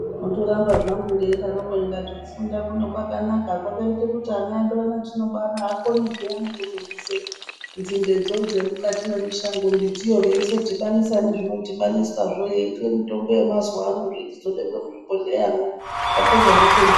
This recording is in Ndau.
Ndotorambe zvangu ndeidaroko kuti kufunda kuno kwakanaka kwakaite kuti ana edu ano etinobara akone peyani kuzobvise nzindedzo dzemikati mwemishango, mbiti veizodhibanisa nezvinodhibaniswazvo yeitwe mitombo yemazuano yeizobekwe muzvibhehleramwo zvapedzwa zvotengeswa.